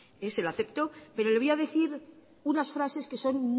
se lo acepto pero le voy a decir unas frases que son